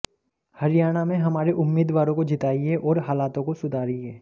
हरियाणा में हमारे उम्मीदवारो को जिताइये और हालातों को सुधारिये